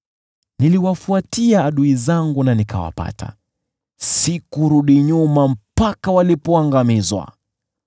Niliwafuatia adui zangu na nikawapata, sikurudi nyuma mpaka walipoangamizwa.